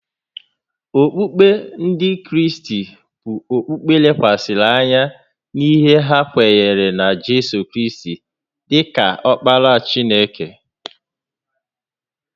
Okpukpe Ndị Kraịst bụ okpukpe lekwasịrị anya n’ihe ha kweere na Jizọs Kraịst dị ka Ọkpara Chineke